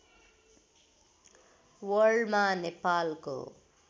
वर्ल्डमा नेपालको